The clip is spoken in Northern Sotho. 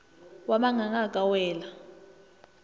wa manganga a ka wela